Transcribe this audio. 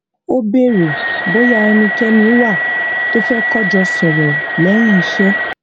ó béèrè bóyá ẹnikéni wà tó fé kọ jọ sòrò léyìn iṣé